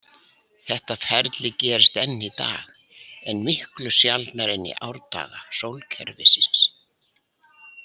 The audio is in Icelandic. Þetta ferli gerist enn í dag, en miklu sjaldnar en í árdaga sólkerfisins.